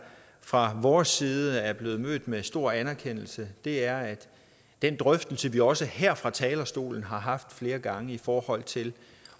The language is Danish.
fra vores side er blevet mødt med stor anerkendelse det er er den drøftelse vi også her fra talerstolen har haft flere gange i forhold til